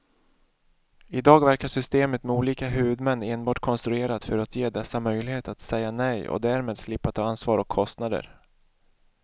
I dag verkar systemet med olika huvudmän enbart konstruerat för att ge dessa möjlighet att säga nej och därmed slippa ta ansvar och kostnader.